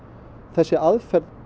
þessi aðför